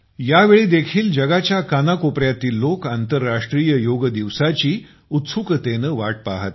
यावेळेस देखील जगाच्या कानाकोपऱ्यातील लोक आंतरराष्ट्रीय योग दिवसाची उत्सुकतेने वाट पहात आहेत